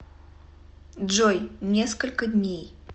джой несколько дней